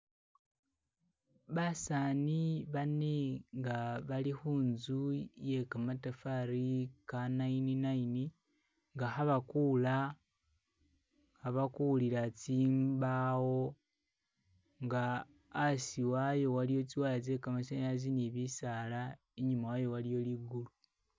Basani bane nga'balikhuntsu yekamatafali ka'nine nine nga'khabakula, khabakulila tsimbawo nga'asiwayo waliwo tsiwaya tse'kamasanyalasi ni'bisala inyumawayo waliyo lingulu.